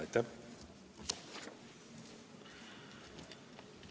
Aitäh!